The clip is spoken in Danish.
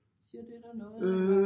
Siger det dig noget eller